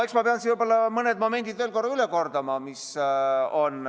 Eks ma pean võib-olla mõne momendi veel korra üle kordama.